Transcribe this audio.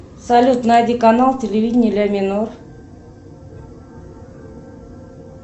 салют найди канал телевидение ля минор